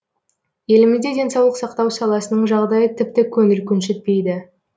елімізде денсаулық сақтау саласының жағдайы тіпті көңіл көншітпейді